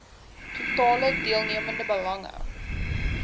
totale deelnemende belange